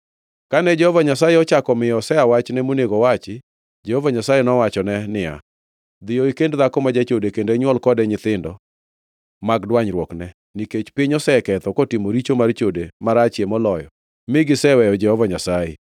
Kane Jehova Nyasaye ochako miyo Hosea wachne monego owachi, Jehova Nyasaye nowachone niya, “Dhiyo ikend dhako ma jachode kendo inywol kode nyithindo mag dwanyruokne, nikech piny oseketho kotimo richo mar chode marachie moloyo mi giseweyo Jehova Nyasaye.”